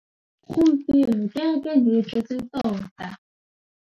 Gompieno kêrêkê e ne e tletse tota.